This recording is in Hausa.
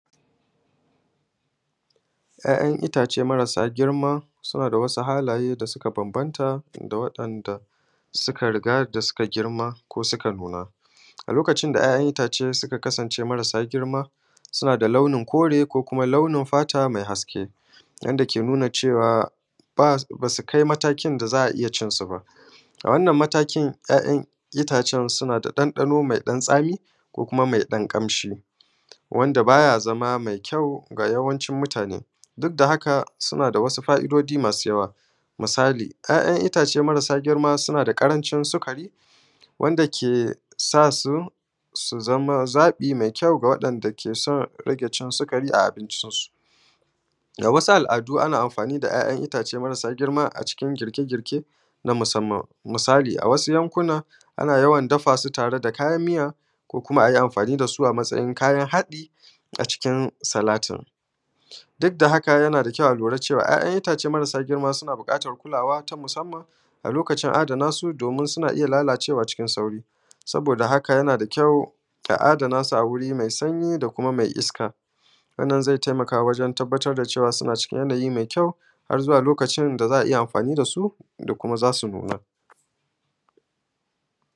’Ya’yan itace marasa girma suna da wasu halaye da suka banbanta da waɗanda suka riga suka da girma ko suka nuna. A Lokacin da ’ya’yan itace suka kasance marasa girma, suna da launin kore ko kuma launin fata mai haske, wanda ke nuna cewa ba su kai matakin da za a iya cin su ba. A wannan mataki, ’ya’yan itace suna da ɗanɗano mai tsami ko kuma mai ɗan kamshi, wanda ba ya zama mai kyau a yawancin mutane. Duk da haika, suna da wasu fa’idoji mai yawa. Misali, ’ya’yan itace marasa girma suna da ƙarancin sukari, wanda ke sa su su zama zaɓi mai kyau ga waɗanda ke son rage cin sukari a abincin su. ga wasu al’adu, ana amfani da ’ya’yan itace marasa girma a cikin girke-girke na musamman. Misali, a wasu yankunan, ana yawan dafa su tare da kayan miya, ko kuma a yi amfani da su a matsayin kayan haɗi a cikin salati. Duk da haka, yana da kyau a lura cewa ’ya’yan itace marasa girma suna son buƙatan kulawa ta musamman a lokacin adana su, domin suna iya lalacewa cikin sauri. Saboda haka, yana da kyau a adana su a gurin mai sanyi da kuma mai iska, don zai tayammu wajen ganin cewa suna cikin yanayi mai kyau har zuwa lokacin da za a iya amfani da su.